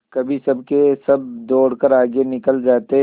कभी सबके सब दौड़कर आगे निकल जाते